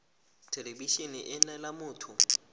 thelebi ene e neela motho